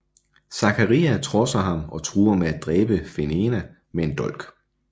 Zaccaria trodser ham og truer med at dræbe Fenena med en dolk